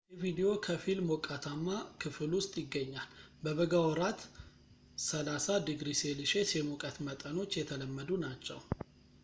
ሞንቴቪዲዮ ከፊል ሞቃታማ ክፍል ውስጥ ይገኛል፤ በበጋ ወራት፣ +30°c የሙቀት መጠኖች የተለመዱ ናቸው